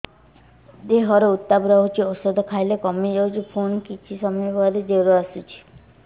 ଦେହର ଉତ୍ତାପ ରହୁଛି ଔଷଧ ଖାଇଲେ କମିଯାଉଛି ପୁଣି କିଛି ସମୟ ପରେ ଜ୍ୱର ଆସୁଛି